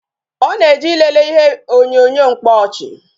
Ọ na-eje ilele ihe onyonyo mkpaọchị